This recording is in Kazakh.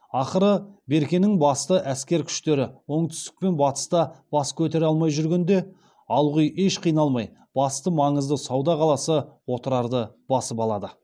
ақыры беркенің басты әскер күштері оңтүстік пен батыста бас көтере алмай жүргенде алғұй еш қиналмай басты маңызды сауда қаласы отырарды басып алады